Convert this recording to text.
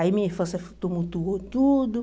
Aí minha infância tumultuou tudo.